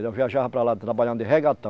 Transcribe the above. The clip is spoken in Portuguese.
Eu viajava para lá trabalhando de